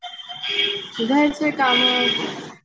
घरचे कामं.